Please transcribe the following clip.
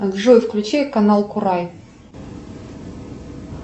джой включи канал курай